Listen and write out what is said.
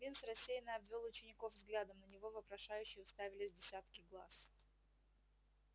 бинс рассеянно обвёл учеников взглядом на него вопрошающе уставились десятки глаз